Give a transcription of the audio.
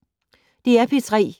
DR P3